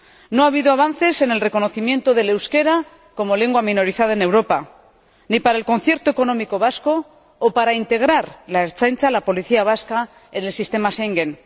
No ha habido avances en el reconocimiento del euskera como lengua minorizada en Europa, ni para el concierto económico vasco ni para integrar la Ertzaintza, la policía vasca, en el Sistema de Schengen.